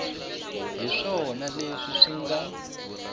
hi swona leswi swi nga